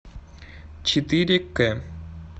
четыре к